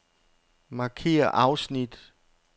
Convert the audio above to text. Markér afsnit.